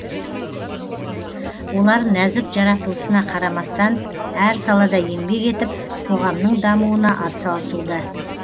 олар нәзік жаратылысына қарамастан әр салада еңбек етіп қоғамның дамуына атсалысуда